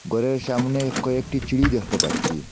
ঘরের সামনে কয়েকটি চিরি দেখতে পাচ্ছি।